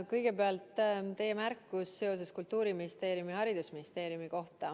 Kõigepealt teie märkus Kultuuriministeeriumi ning Haridus- ja Teadusministeeriumi kohta.